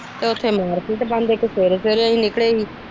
ਤੇ ਉਥੇ ਮਾਰਕੀਟ ਬੰਦ ਇੱਕ ਸਵੇਰੇ ਸਵੇਰੇ ਅਸੀ ਨਿਕਲੇ ਸੀ।